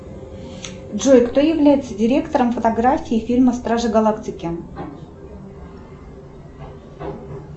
джой кто является директором фотографии фильма стражи галактики